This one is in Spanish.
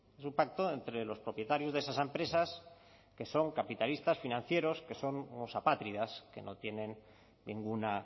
es un pacto entre los propietarios de esas empresas que son capitalistas financieros que son unos apátridas que no tienen ninguna